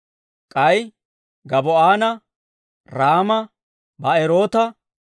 K'ay Gabaa'oona, Raama, Ba'eroota,